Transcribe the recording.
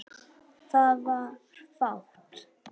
Það var fátt.